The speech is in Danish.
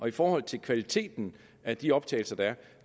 i forhold til kvaliteten af de optagelser der